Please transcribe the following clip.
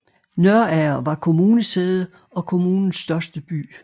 Nørager var kommunesæde og kommunens største by